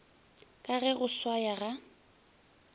ka ge go swaya ga